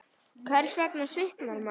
Hvers vegna svitnar maður?